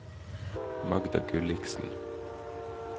Magda Gulliksen